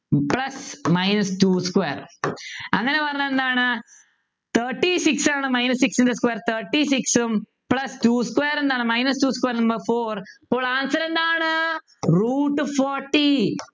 plus minus two square അങ്ങനെ പറഞ്ഞാൽ എന്താണ് thirty six ആണ് minus six square ൻ്റെ square thirty six ഉം plus two square എന്താണ് plus minus two square ന്ത four അപ്പോൾ answer എന്താണ് root forty